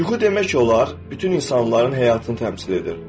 Yuxu demək olar, bütün insanların həyatını təmsil edir.